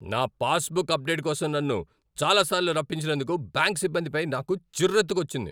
నా passbook update కోసం నన్ను చాలాసార్లు రప్పించినందుకు బ్యాంక్ సిబ్బందిపై నాకు చిర్రెత్తుకొచ్చింది.